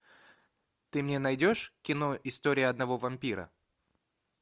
ты мне найдешь кино история одного вампира